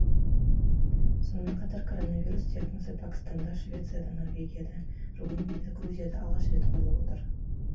сонымен қатар коронавирус диагнозы пәкістанда швецияда норвегияда румынияда грузияда алғаш рет қойылып отыр